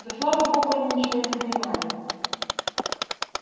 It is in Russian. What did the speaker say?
да слава богу они ничего не понимали